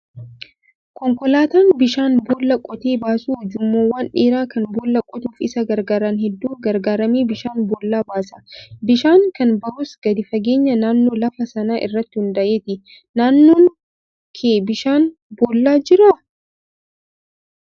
Konkolaataan bishaan boollaa qotee baasu ujummoowwan dheeraa kan boolla qotuuf isa gargaaran hedduu gargaaramee bishaan boollaa baasa. Bishaan kan bahus gadi fageenya naannoo lafa sanaa irratti hundaa'eeti. Naannoo kee bishaan boollaa jira?